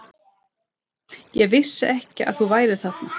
Ég vissi ekki að þú værir þarna.